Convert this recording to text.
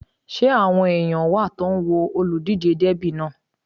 Ṣé àwọn èèyàn wà tó ń wo olùdíjé dẹ́bì náà?